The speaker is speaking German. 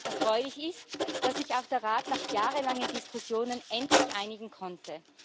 Erfreulich ist, dass sich auch der Rat nach jahrelangen Diskussionen endlich einigen konnte.